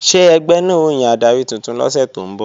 Ṣé ẹgbẹ́ náà ó yan adarí tuntun lọ́sẹ̀ tó ń bọ̀?